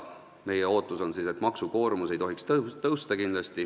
Meie ootus on, et maksukoormus ei tohiks kindlasti suureneda.